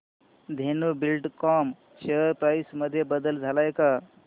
Dhenu Buildcon share price मध्ये बदल आलाय का